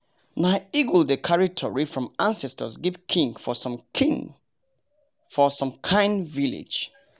nah eagle dey cary tory from ancestors give king for some king for some kind village